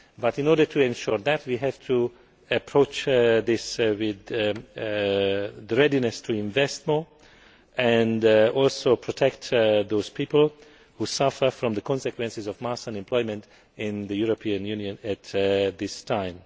However, in order to ensure that, we have to approach this with a readiness to invest more and also protect those people who suffer from the consequences of mass unemployment in the European Union at this